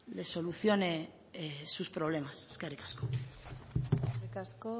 les solucione sus problemas eskerrik asko eskerrik asko